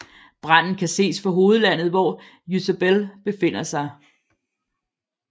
Branden kan ses fra hovedlandet hvor Ysabel befinder sig